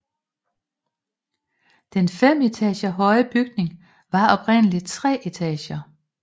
Den fem etager høje bygning var oprindeligt i tre etager